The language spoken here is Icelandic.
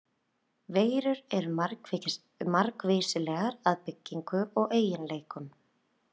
Veirur eru margvíslegar að byggingu og eiginleikum.